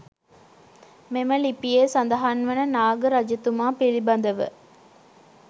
මෙම ලිපියේ සඳහන් වන නාග රජතුමා පිළිබඳව